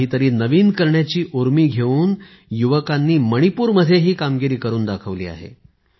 काही तरी नवीन करण्याची उर्मी घेऊन युवकांनी मणिपूरमध्ये ही कामगिरी करून दाखवली आहे